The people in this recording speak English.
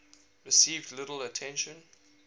received little attention